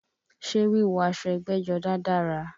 Ṣé wíwọ̀ aṣọ ẹgbẹ́jọdá dára?